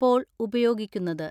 പ്പോൾ ഉപയോഗിക്കുന്നത്.